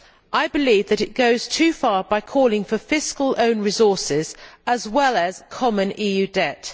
I believe that it goes too far by calling for fiscal own resources as well as common EU debt.